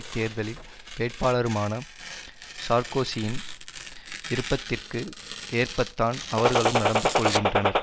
தேர்தலில் வேட்பாளருமான சார்க்கோசியின் விருப்பத்திற்கு ஏற்பத்தான் அவர்களும் நடந்து கொள்ளுகின்றனர்